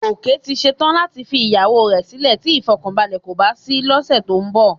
Gòkè ti ṣe tán láti fi ìyàwó rẹ sílè tí ìfọ̀kànbalẹ̀ kò bá sí lọ́sẹ̀ tó ń bọ̀